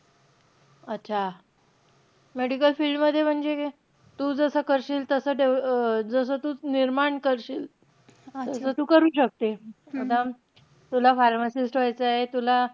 अच्छा. medical field मध्ये म्हणजे, तू जसं करशील तसं डेव्ह अं जसं तू निर्माण करशील. तसं तू करू शकते. आता तुला pharmacist व्हायचंय, तुला